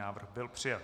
Návrh byl přijat.